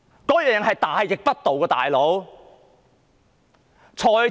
"老兄"，這是大逆不道的要求。